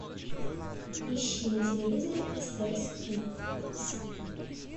ищи на телевизоре стс кидс